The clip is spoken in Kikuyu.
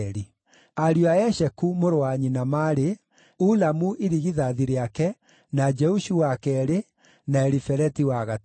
Ariũ a Esheku, mũrũ wa nyina, maarĩ: Ulamu irigithathi rĩake, na Jeushu wa keerĩ, na Elifeleti wa gatatũ.